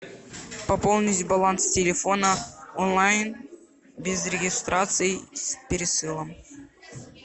пополнить баланс телефона онлайн без регистрации с пересылом